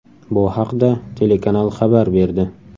Bu haqda telekanal xabar berdi.